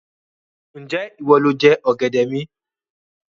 Ń jẹ́ ìwọ lọ jẹ ọ̀gẹ̀dẹ̀ mi?